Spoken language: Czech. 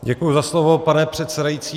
Děkuji za slovo, pane předsedající.